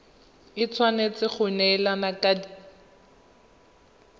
e tshwanetse go neelana ka